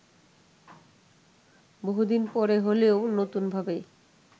বহুদিন পরে হলেও নতুনভাবে